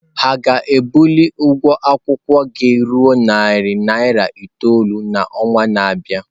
Ha ga-ebuli ụgwọ akwụkwọ gị ruo narị naira itoolu n'ọnwa na-abịa?